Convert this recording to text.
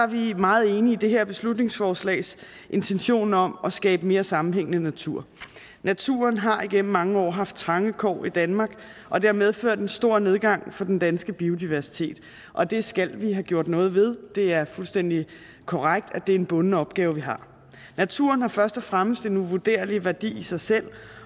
vi meget enige i det her beslutningsforslags intentioner om at skabe mere sammenhængende natur naturen har igennem mange år haft trange kår i danmark og det har medført en stor nedgang for den danske biodiversitet og det skal vi have gjort noget ved det er fuldstændig korrekt at det er en bunden opgave vi har naturen har først og fremmest en uvurderlig værdi i sig selv